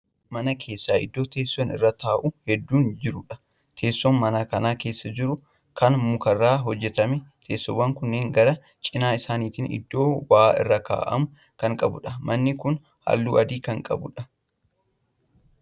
Mana keessa iddoo teessoon irraa taa'amu hedduun jiruudha. teessoon mana Kan keessa jiru Kan mukarraa hojjatameedha. teessoowwan kunniin gara cinaa isaanitiin iddoo waa irra kaa'amu Kan qabuudha. manni Kuni halluu adii Kan qabuudha.